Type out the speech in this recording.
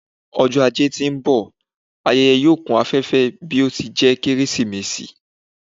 Ọjọ ajé ti n bọ, ayẹyẹ yoo kun afẹfẹ bi o ti jẹ Keresimesi